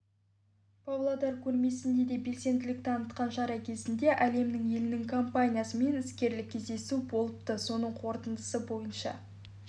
павлодар көрмесінде де белсенділік танытқан шара кезінде әлемнің елінің компаниясымен іскерлік кездесу болыпты соның қорытындысы бойынша